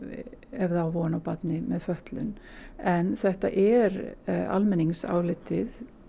ef það á von á barni með fötlun en þetta er almenningsálitið